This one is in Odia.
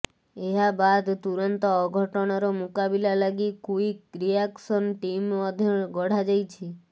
ଏହା ବାଦ୍ ତୁରନ୍ତ ଅଘଟଣର ମୁକାବିଲା ଲାଗି କ୍ୱିକ ରିଆକସନ ଟିମ ମଧ୍ୟ ଗଢାଯାଇଛି